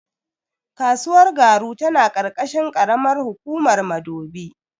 Kasuwar Garu tana ƙarƙashin ƙaramar hukumar Madobi.